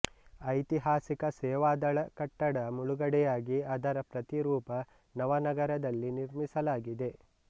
ಐತಿಹಾಸಿಕ ಸೇವಾದಳ ಕಟ್ಟಡ ಮುಳುಗಡೆಯಾಗಿ ಅದರ ಪ್ರತಿರೂಪ ನವನಗರದಲ್ಲಿ ನಿರ್ಮಿಸಲಾಗಿದೆ